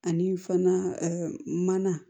Ani fana mana